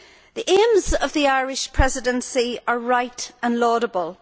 The aims of the Irish Presidency are right and laudable.